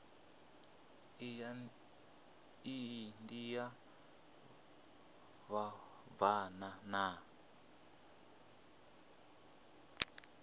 iyi ndi ya vhabvann ḓa